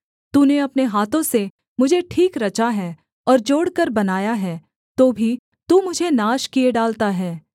तूने अपने हाथों से मुझे ठीक रचा है और जोड़कर बनाया है तो भी तू मुझे नाश किए डालता है